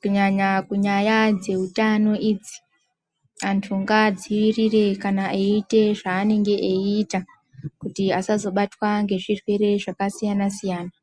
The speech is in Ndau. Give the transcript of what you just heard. kunyanya kunyaya dzehutano idzi ,antu ngaadzirire kana eyite zvaanenge ayita kuti asazobatwa ngezvirwere zvakasiyana siyana.